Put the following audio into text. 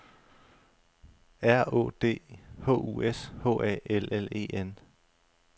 R Å D H U S H A L L E N